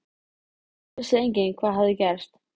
Þessi Halli hor hafði gert hann reiðan, já, fokillan.